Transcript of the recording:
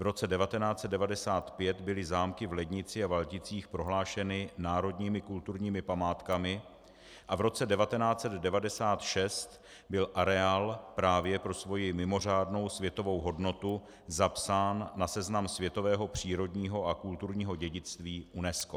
V roce 1995 byly zámky v Lednici a Valticích prohlášeny národními kulturními památkami a v roce 1996 byl areál právě pro svoji mimořádnou světovou hodnotu zapsán na seznam světového přírodního a kulturního dědictví UNESCO.